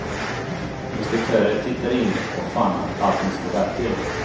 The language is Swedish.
Inspektörer tittade in och fann att allt inte stod rätt till.